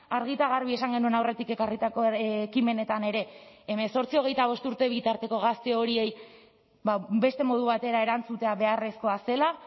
argi eta garbi esan genuen aurretik ekarritako ekimenetan ere hemezortzi hogeita bost urte bitarteko gazte horiei beste modu batera erantzutea beharrezkoa zela